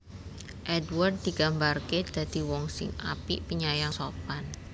Édward digambarké dadi wong sing apik penyayang sopan